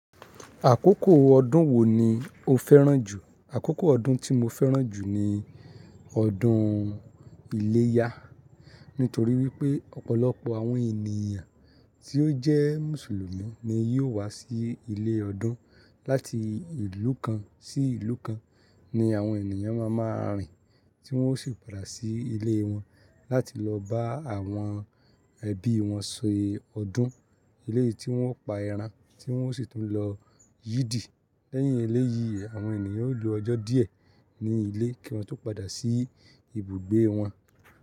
Àkókò ọdún wo ni o fẹ́ràn jù? Àkókò ọdún tí mo fẹ́ràn jù ni ọdún iléyá. Nítorí wípé ọ̀pọ̀lọpọ̀ àwọn ènìyàn tí ó jẹ́ Mùsùlùmí ni yóò wá sí ilé ọdún láti ìlú kan sí ìlú kan, ni àwọn ènìyàn máa máa rìn tí wọ́n ó sì padà sí ilé wọn láti lọ bá àwọn ẹbí wọn se ọdún. Lẹ́yì tí wọ́n pa ẹran tí wọ́n ó sì tún lọ yìdì. Lẹ́yìn eléyìí àwọn ènìyàn ó lo ọjọ́ díẹ̀ ní ilé kí wọ́n tó padà sí ibùgbé wọn.